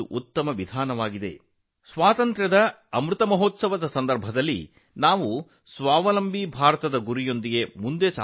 ಈಗ ಈ ಅಭಿಯಾನವು ವಿಶೇಷವಾಗಿದೆ ಏಕೆಂದರೆ ಆಜಾದಿ ಕಾ ಅಮೃತ ಮಹೋತ್ಸವದ ಸಮಯದಲ್ಲಿ ನಾವು ಸಹ ಸ್ವಾವಲಂಬಿ ಭಾರತದ ಗುರಿಯೊಂದಿಗೆ ಮುಂದುವರಿಯುತ್ತೇವೆ